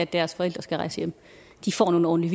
deres forældre skal rejse hjem får nogle